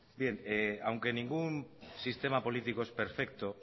bien aunque ningún sistema político es perfecto